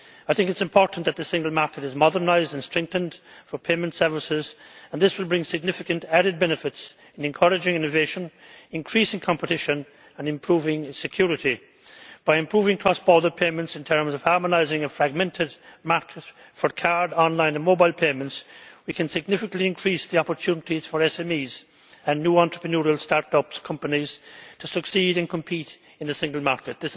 It is important that the single market for payment services is modernised and strengthened, and this will bring significant added benefits in encouraging innovation, increasing competition and improving security. By improving cross border payments in terms of harmonising a fragmented market for card, online and mobile payments, we can significantly increase the opportunities for SMEs and new entrepreneurial start up companies to succeed and compete in the single market.